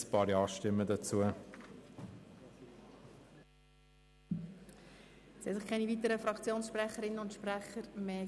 Es haben sich keine weiteren Fraktionssprecherinnen und -sprecher gemeldet.